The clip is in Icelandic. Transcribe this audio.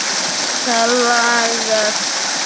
Það lagast.